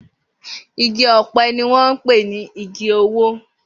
Igi ọ̀pẹ ni wọ́n ń pè ní igi owó